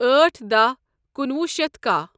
أٹھ دہَ کنُوہُ شیتھ کہہَ